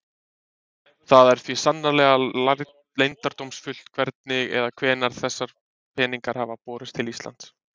Það er því sannarlega leyndardómsfullt hvernig eða hvenær þessir peningar hafa borist til Íslands.